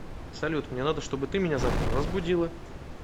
салют мне надо что бы ты меня завтра разбудила